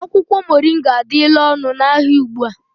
Akwụkwọ moringa adịla ọnụ n'ahịa ugbu a